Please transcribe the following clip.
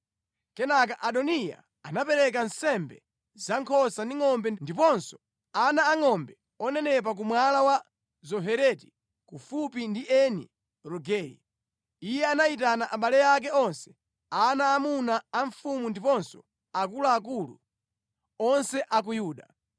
Kenaka Adoniya anapereka nsembe za nkhosa ndi ngʼombe ndiponso ana angʼombe onenepa ku Mwala wa Zohereti kufupi ndi Eni Rogeli. Iye anayitana abale ake onse, ana aamuna a mfumu ndiponso akuluakulu onse a ku Yuda,